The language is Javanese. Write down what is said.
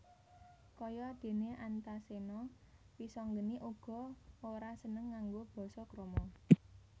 Kaya déné Antaséna Wisanggeni uga ora seneng nganggo basa krama